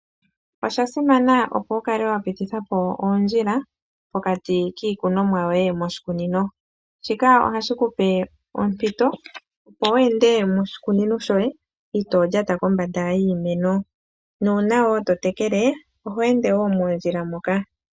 Oshasima opo wukale wapitithapo oondjila pokati kiikunomwa yoye moshikunino. Shika ohashi kupe ompito opo weende moshikunino shoye itoolyata kombonda yiimeno nuuna wo totekele oho ende mondjila moka.